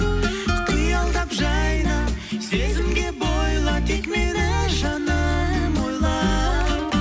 қиялдап жайна сезімге бойла тек мені жаным ойла